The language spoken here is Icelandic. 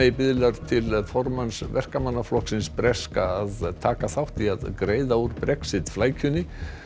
biðlar til formanns Verkamannaflokksins að taka þátt í að greiða úr Brexit flækjunni